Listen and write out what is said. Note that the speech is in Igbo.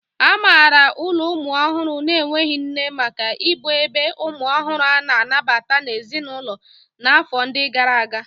A maara ụlọ ụmụ ọhụrụ na-enweghị nne maka ịbụ ebe umu ohuru a-na anabata n'ezinulo na afọ ndi gara aga.